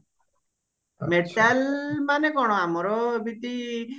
metal ମାନେ କଣ ଆମର ଏମିତି